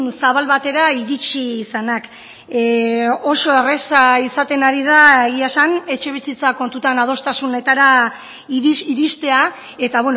zabal batera iritsi izanak oso erraza izaten ari da egia esan etxebizitza kontutan adostasunetara iristea eta